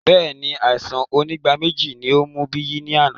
Bẹẹni, àìsàn onígbáméjì ní ó mú Biyi ní àná